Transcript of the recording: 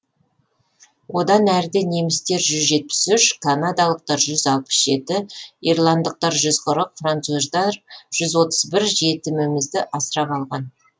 одан әріде немістер жүз жетпіс үш канадалықтар жүз алпыс жеті ирландықтар жүз қырық француздар жүз отыз бір жетімімізді асырап алған